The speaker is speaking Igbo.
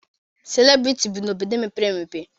Selịbriti bi n'obodo mepere emepe